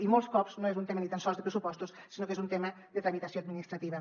i molts cops no és un tema ni tan sols de pressupostos sinó que és un tema de tramitació administrativa